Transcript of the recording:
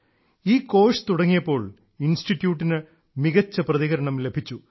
ഈ കോഴ്സ് തുടങ്ങിയപ്പോൾ ഇൻസ്റ്റിറ്റ്യൂട്ടിന് മികച്ച പ്രതികരണം ലഭിച്ചു